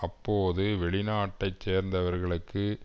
அப்போது வெளிநாட்டை சேர்ந்தவர்களுக்கு